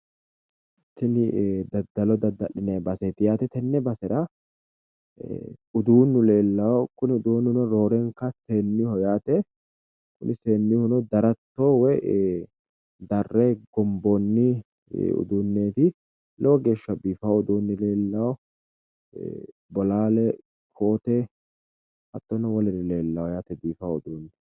Tini daddalo dadda’linayi baseeti yaate. Tenne basera uduunnu leellawo kuni uduunnuno roorenka seennuyiiho yaate kuni seennuyihuno daratto woyi darre gomboonni uduunneeti lowo geeshsha biifawo uduunni leellawo. Bolaale koote hattono woluri leellawo yaate biifawo uduunni.